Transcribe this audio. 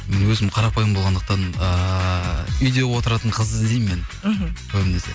өзім қарапайым болғандықтан ыыы үйде отыратын қыз іздеймін мен мхм көбінесе